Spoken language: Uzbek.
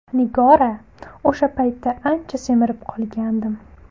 Nigora: O‘sha paytda ancha semirib qolgandim.